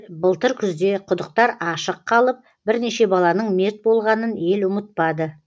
былтыр күзде құдықтар ашық қалып бірнеше баланың мерт болғанын ел ұмытпады